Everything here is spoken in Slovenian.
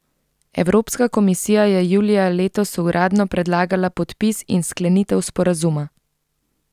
Evropska komisija je julija letos uradno predlagala podpis in sklenitev sporazuma.